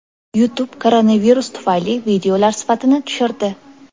YouTube koronavirus tufayli videolar sifatini tushirdi.